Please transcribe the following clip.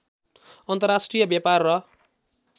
अन्तर्राष्ट्रिय व्यापार र